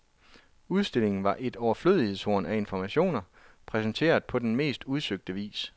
Udstillingen var et overflødighedshorn af informationer, præsenteret på den mest udsøgte vis.